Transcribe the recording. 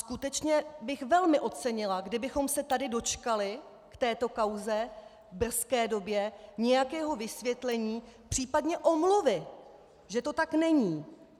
Skutečně bych velmi ocenila, kdybychom se tady dočkali v této kauze v brzké době nějakého vysvětlení, případně omluvy, že to tak není.